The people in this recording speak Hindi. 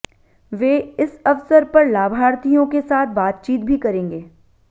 वे इस अवसर पर लाभार्थियों के साथ बातचीत भी करेंगे